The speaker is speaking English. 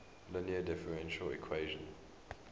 linear differential equation